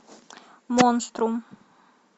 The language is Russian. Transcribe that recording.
монструм